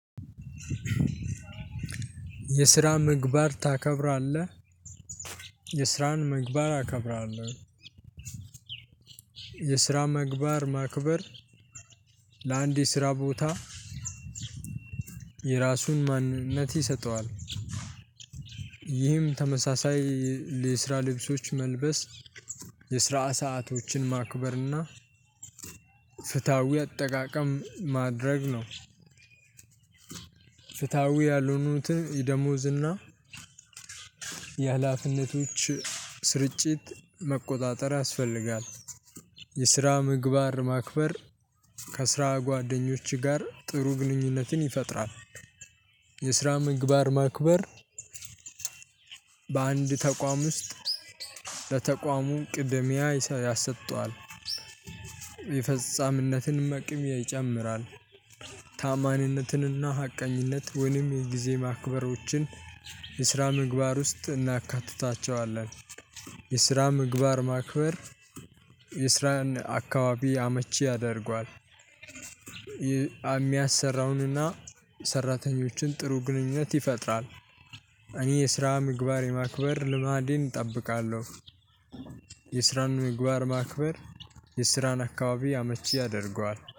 የስራ ምግባር ታከብራለህ? የስራን ምግባር አከብራለሁ። የስራ ምግባር ማክበር። ለአንድ የስራ ቦታ የራሱን ማንነት ይሰጠዋል። ይህም ተመሳሳይ የስራ ልብሶች መልበስ የስራ ሰአቶችን ማክበርና ፍትሃዊ አጠቃቀም ማድረግ ነው። ፍትሃዊ ያልሆኑትን የደሞዝና የሀላፊነቶች ስርጭት መቆጣጠር ያስፈልጋል። የስራ ምግባር ማክበር ከስራ ጓደኞች ጋር ጥሩ ግንኙነትን ይፈጥራል። የስራ ምግባር ማክበር በአንድ ተቋም ውስጥ ለተቋሙ ቅድሚያ ያሰጠዋል የፈጻሚነትንም አቅም ይጨምራል። ተአማኒነትንና ሀቀኝነት ወይም የጊዜ ማክበሮችን የስራ ምግባር ውስጥ እናካትታቸዋለን። የስራ ምግባር ማክበር የስራን አካባቢ አመቺ ያደርገዋል። የሚያሰራውንና ሰራተኞችን ጥሩ ግንኙነት ይፈጥራል። እኔ የስራ ምግባር የማክበር ልማድን እጠብቃለሁ። የስራን ምግባር ማክበር የስራን አካባቢ አመቺ ያደርገዋል